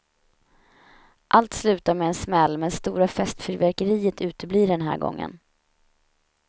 Allt slutar med en smäll, men stora festfyrverkeriet uteblir den här gången.